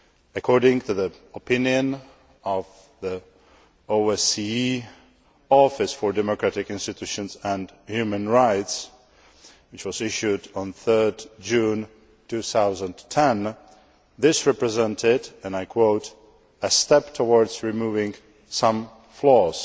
According to the opinion of the OSCE Office for Democratic Institutions and Human Rights, which was issued on 3 June 2010, this represented, and I quote, a step towards removing some flaws'